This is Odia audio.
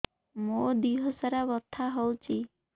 ମୋ ଦିହସାରା ବଥା ହଉଚି